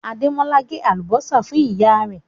Àdémọ́lá ǹ gé alúbọ̀sà fún iyà rẹ̀